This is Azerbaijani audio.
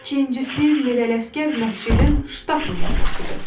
İkincisi, Mirələşgər məscidin ştatlı mollasıdır.